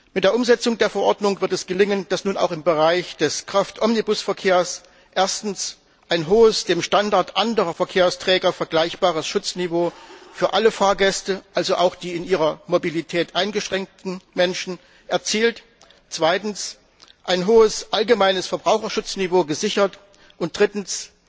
Mit der Umsetzung der Verordnung wird es gelingen, dass nun auch im Bereich des Kraftomnibusverkehrs erstens ein hohes, dem Standard anderer Verkehrsträger vergleichbares Schutzniveau für alle Fahrgäste, also auch die in ihrer Mobilität eingeschränkten Menschen, erzielt wird, zweitens ein hohes allgemeines Verbraucherschutzniveau gesichert und drittens